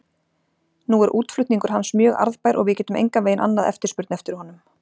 Nú er útflutningur hans mjög arðbær og við getum engan veginn annað eftirspurn eftir honum.